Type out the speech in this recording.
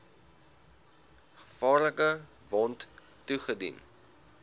gevaarlike wond toegedien